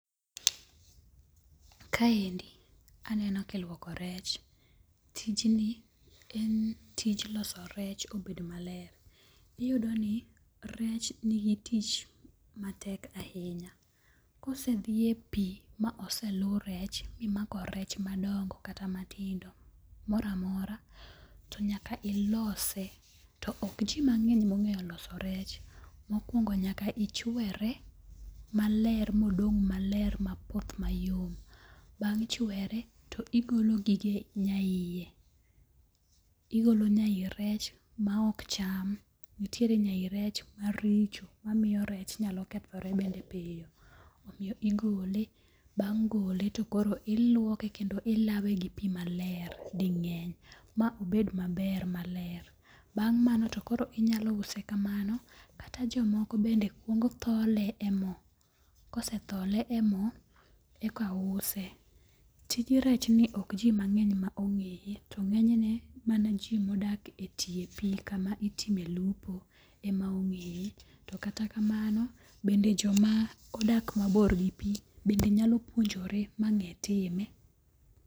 Kaendi aneno ka iluoko rech. Tijni en tich loso rech obed maler. Iyudo ni rech nigi tich matek ahinya. Kose dhi e pi ma ose lu rech mimako rech madongo kata matindo. Moro amora to nyaka ilose. To ok ji mang'eny mong'eyo loso rech. Mokwongo nyaka ichwere maler modong' maler mapoth mayom. Bang' chwere to igolo gige nya iye. Igolo nya yi rech ma ok cham. Nitiere nya yi rech maricho. Mamiyo rech nyalo kethore bende piyo. Omiyo igole. Bang' gole to koro iluoke kendo ilawe gi pi maler ding'eny ma obed maber maler. Bang' mano to koro inyalo use kamano. Kata jomoko bende kwongo thole e mo. Kose thole e mo eka use. Tij rech ni ok ji mang'eny ma ong'eye. To ng'enyne mana ji modak e tie pi kama itime lupo ema ong'eye. To kata kamano bende joma odak mabor gi pi bende nyalo puonjore ma ng'e time.